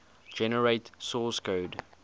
generate source code